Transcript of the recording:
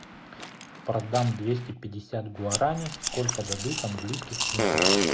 продам двести пятьдесят гуарани сколько дадут английских фунтов